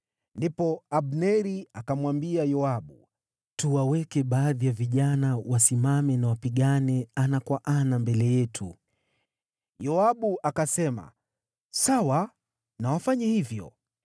Ndipo Abneri akamwambia Yoabu, “Tuwaweke baadhi ya vijana wasimame na wapigane ana kwa ana mbele yetu.” Yoabu akasema, “Sawa, na wafanye hivyo.”